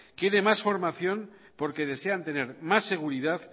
quiere más formación porque desean tener más seguridad